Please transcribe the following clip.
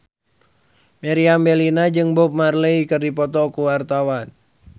Meriam Bellina jeung Bob Marley keur dipoto ku wartawan